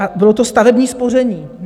A bylo to stavební spoření.